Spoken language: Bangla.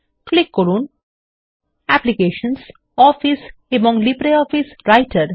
ক্লিক করুন অ্যাপ্লিকেশনস অফিস এবং লিব্রিঅফিস রাইটার